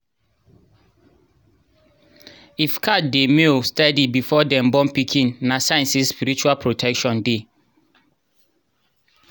if cat dey meow steady before dem born pikin na sign say spiritual protection dey.